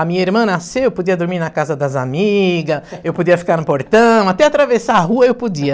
A minha irmã nasceu, eu podia dormir na casa das amigas, eu podia ficar no portão, até atravessar a rua eu podia.